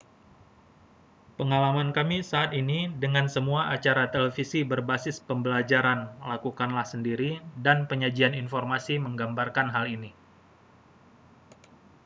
pengalaman kami saat ini dengan semua acara televisi berbasis pembelajaran lakukanlah sendiri dan penyajian informasi menggambarkan hal ini